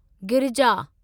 Girija